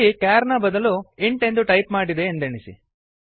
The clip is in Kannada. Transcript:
ಇಲ್ಲಿ ಕೇರ್ ನ ಬದಲು ಇಂಟ್ ಎಂದು ಟೈಪ್ ಮಾಡಿದೆ ಎಂದೆಣಿಸಿ